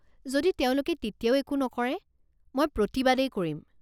যদি তেওঁলোকে তেতিয়াও একো নকৰে, মই প্ৰতিবাদেই কৰিম।